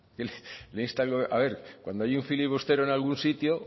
le insta a ver cuando hay un filibustero en algún sitio